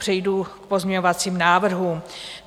Přejdu k pozměňovacím návrhům.